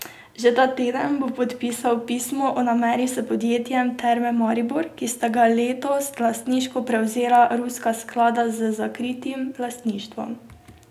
Že ta teden bo podpisal pismo o nameri s podjetjem Terme Maribor, ki sta ga letos lastniško prevzela ruska sklada z zakritim lastništvom.